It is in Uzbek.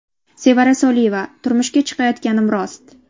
Sevara Soliyeva: Turmushga chiqayotganim rost.